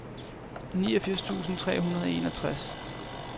niogfirs tusind tre hundrede og enogtres